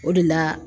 O de la